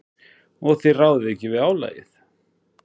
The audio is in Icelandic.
Og þið ráðið ekki við álagið?